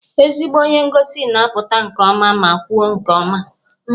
Ezigbo onye ngosi ga-apụta nke ọma ma kwuo nke ọma